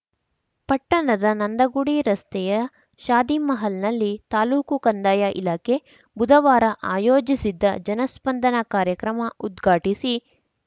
ಪಟ್ಟಣದ ನಂದಿಗುಡಿ ರಸ್ತೆಯ ಶಾದಿಮಹಲ್‌ನಲ್ಲಿ ತಾಲೂಕು ಕಂದಾಯ ಇಲಾಖೆ ಬುಧವಾರ ಆಯೋಜಿಸಿದ್ದ ಜನಸ್ಪಂದನ ಕಾರ್ಯಕ್ರಮ ಉದ್ಘಾಟಿಸಿ